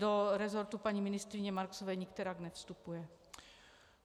Do resortu paní ministryně Marksové nikterak nevstupuje.